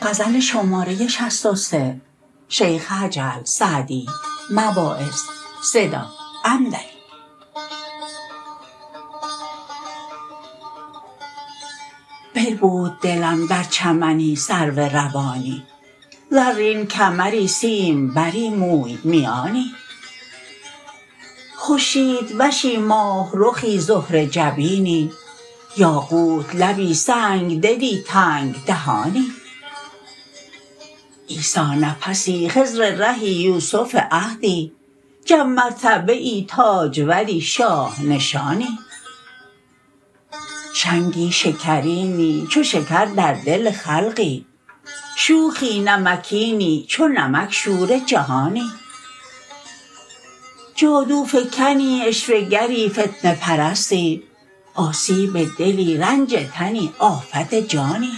بربود دلم در چمنی سرو روانی زرین کمری سیمبری موی میانی خورشیدوشی ماهرخی زهره جبینی یاقوت لبی سنگدلی تنگ دهانی عیسی نفسی خضر رهی یوسف عهدی جم مرتبه ای تاجوری شاه نشانی شنگی شکرینی چو شکر در دل خلقی شوخی نمکینی چو نمک شور جهانی جادوفکنی عشوه گری فتنه پرستی آسیب دلی رنج تنی آفت جانی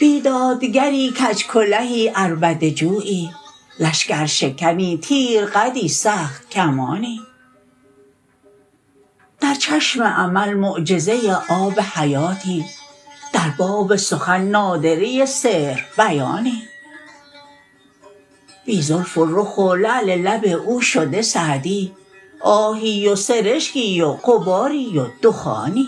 بیدادگری کج کلهی عربده جویی لشکرشکنی تیر قدی سخت کمانی در چشم امل معجزه آب حیاتی در باب سخن نادره سحر بیانی بی زلف و رخ و لعل لب او شده سعدی آهی و سرشکی و غباری و دخانی